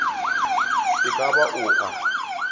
e ka ba o a